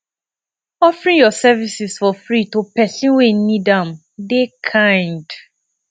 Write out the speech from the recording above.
offering yur services for free to pesin wey nid am dey kind